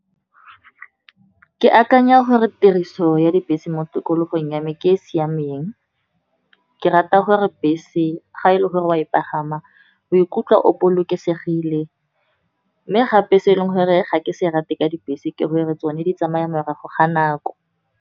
Ke akanya gore tiriso ya dibese mo tikologong ya me ke e e siameng. Ke rata gore bese ga e le gore o a e pagama, o ikutlwa o bolokesegile. Mme gape se e leng gore ga ke se rate ka dibese, ke go e re tsone di tsamaya morago ga nako.